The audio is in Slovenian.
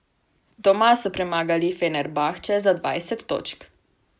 Doma so premagali Fenerbahče za dvajset točk.